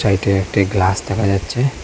এইটি একটি ক্লাস দেখা যাচ্ছে।